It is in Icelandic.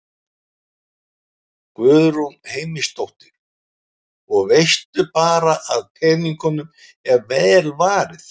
Guðrún Heimisdóttir: Og veist bara að peningunum er vel varið?